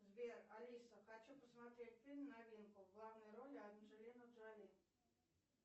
сбер алиса хочу посмотреть фильм новинку в главной роли анджелина джоли